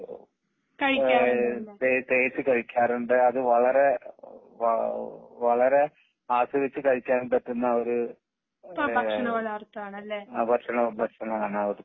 ഏഹ് തേച്ചു കഴിക്കാറുണ്ട് അത് വളരെ വി വളരെ ആസ്വദിച്ചു കഴിക്കാൻ പറ്റുന്ന ഒരു ഭക്ഷണമാണ് ഭക്ഷണമാണ് അവിടുത്തെ